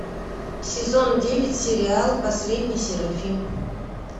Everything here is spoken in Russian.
сезон девять сериал последний серафим